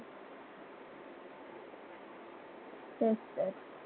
तेच.